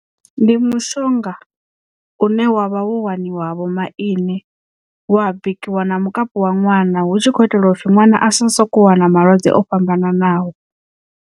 Ndi mushonga une wavha wo waniwa ha vho maine wa bikiwa na mukapu wa ṅwana hu tshi kho itelwa u pfhi ṅwana a si soko wana malwadze o fhambananaho.